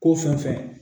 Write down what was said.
Ko fɛn fɛn